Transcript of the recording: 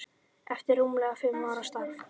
eftir rúmlega fimm ára starf.